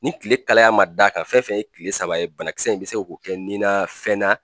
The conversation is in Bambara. Ni kile kalaya man d'a kan fɛn fɛn ye kile saba ye banakisɛ in bɛ se k'o kɛ nin na fɛn